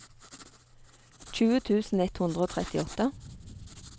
tjue tusen ett hundre og trettiåtte